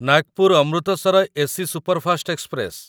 Nagpur Amritsar AC superfast express